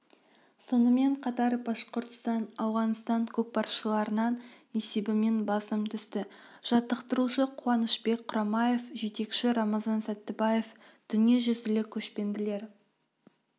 сонымен қатар башқұртстан ауғанстан көкпаршыларынан есебімен басым түсті жаттықтырушы қуанышбек құрамаев жетекші рамазан сәттібаев дүниежүзілік көшпенділер